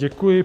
Děkuji.